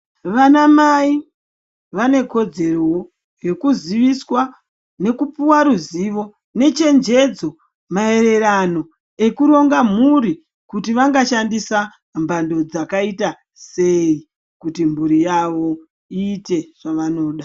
Vanamai vane kodzerowo, yekuziviswa nekupuwa ruzivo nechenjedzo maererano ekuronga mhuri kuti vangashandisa mbando dzakaita sei kuti mburi yavo iite zvavanoda.